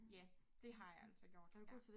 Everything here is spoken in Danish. Ja det har altså gjort ja